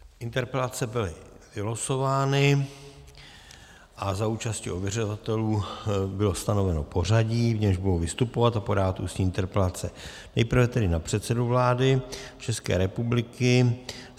Interpelace byly vylosovány a za účasti ověřovatelů bylo stanoveno pořadí, v němž budou vystupovat a podávat ústní interpelace, nejprve tedy na předsedu vlády České republiky.